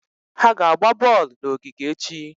Ha ga-agba bọọlụ n'ogige echi.